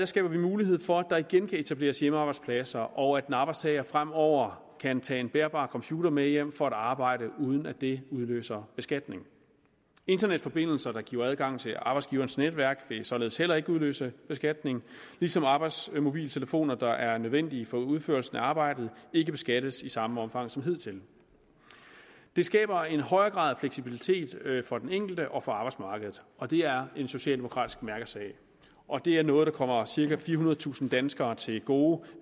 skaber vi mulighed for at der igen kan etableres hjemmearbejdspladser og at en arbejdstager fremover kan tage en bærbar computer med hjem for at arbejde uden at det udløser beskatning internetforbindelser der giver adgang til arbejdsgiverens netværk vil således heller ikke udløse beskatning ligesom arbejdsmobiltelefoner der er nødvendige for udførelsen af arbejdet ikke beskattes i samme omfang som hidtil det skaber en højere grad af fleksibilitet for den enkelte og for arbejdsmarkedet og det er en socialdemokratisk mærkesag og det er noget der kommer cirka firehundredetusind danskere til gode